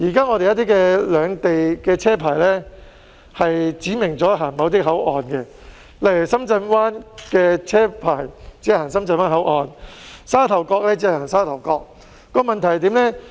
現時一些兩地車牌指明只走某些口岸，例如深圳灣車牌只走深圳灣口岸、沙頭角車牌只走沙頭角，問題是甚麼呢？